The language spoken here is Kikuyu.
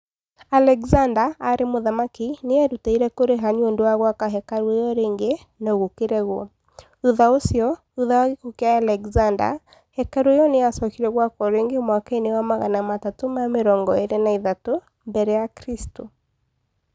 Alexander, arĩ mũthamaki, nĩ eerutĩire kũrĩha nĩ ũndũ wa gwaka hekarũ ĩyo rĩngĩ, no gũkĩregwo. Thutha ũcio, thutha wa gĩkuũ kĩa Alexander, hekarũ ĩyo nĩ yacokire gwakwo rĩngĩ mwaka wa magana matatũ ma mirongo ĩĩrĩ na ithatu [323 ]mbere ya Kristo.